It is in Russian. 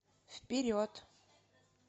вперед